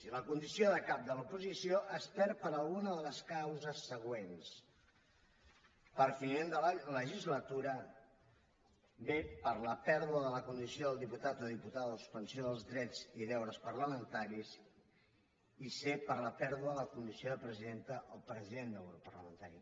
i la condició de cap de l’oposició es perd per alguna de les causes següents per finiment de la legislatura b per la pèrdua de la condició del diputat o diputada o suspensió dels drets i deures parlamentaris i c per la pèrdua de la condició de presidenta o president del grup parlamentari